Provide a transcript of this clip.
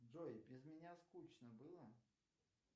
джой без меня скучно было